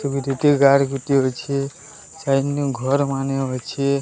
କାହାର ଗୋଟିଏ ଅଛି ସାଇଟନୁ ଘର୍ ମାନେ ଅଛି।